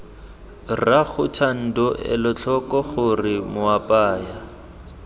rraago thando elatlhoko gore moapaya